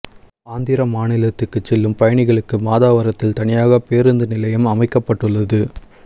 ஆந்திர மாநிலத்துக்கு செல்லும் பயணிகளுக்கு மாதவரத்தில் தனியாக பேருந்து நிலையம் அமைக்கப்பட்டுள்ளது